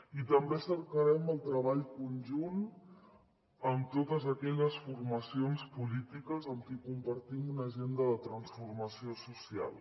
i també cercarem el treball conjunt amb totes aquelles formacions polítiques amb qui compartim una agenda de transformació social